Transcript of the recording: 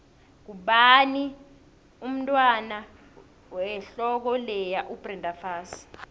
ngubani umntwand wehloko leya ubrenda fassie